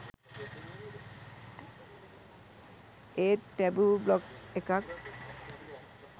ඒත් taboo blog එකක්